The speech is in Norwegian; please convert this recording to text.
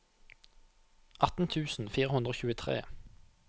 atten tusen fire hundre og tjuetre